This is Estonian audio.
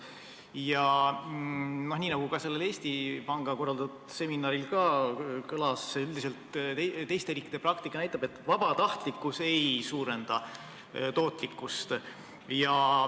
Ja nii, nagu ka sellel Eesti Panga korraldatud seminaril kõlas, on teiste riikide praktika üldiselt näidanud, et vabatahtlikkus ei suurenda tootlikkust.